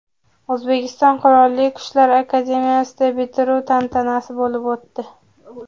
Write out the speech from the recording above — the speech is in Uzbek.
O‘zbekiston Qurolli Kuchlar akademiyasida bitiruv tantanasi bo‘lib o‘tdi .